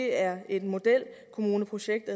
er modelkommuneprojekt